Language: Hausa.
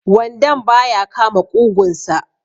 wandon ba ya kama ƙugunsa